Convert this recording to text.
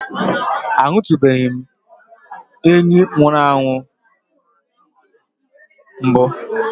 Ahụtụbeghị m enyí nwụrụ anwụ mbụ.